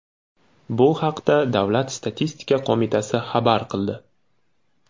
Bu haqda davlat statistika qo‘mitasi xabar qildi .